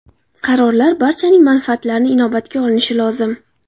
Qarorlar barchaning manfaatlarini inobatga olinishi lozim.